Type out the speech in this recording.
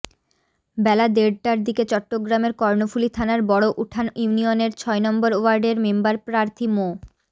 বেলা দেড়টার দিকে চট্টগ্রামের কর্ণফুলী থানার বড় উঠান ইউনিয়নের ছয় নম্বর ওয়ার্ডের মেম্বারপ্রার্থী মো